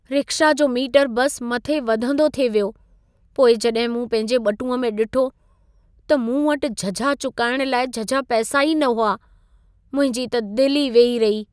Rickshaw जो meter बस मथे वधंदो थिए वियो। पोइ जॾहिं मूं पंहिंजे ॿटूंअ में ॾिठो, त मूं वटि झझा चुकाइण लाइ झझा पैसा ई न हुआ। मुंहिंजी त दिल ई वेही रही।